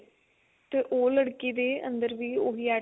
ਤੇ ਉਹ ਲੜਕੀ ਦੇ ਅੰਦਰ ਵੀ ਉਹੀ